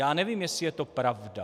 Já nevím, jestli je to pravda.